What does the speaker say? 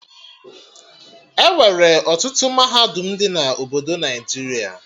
Enwere ọtụtụ mahadum dị na obodo Naijiria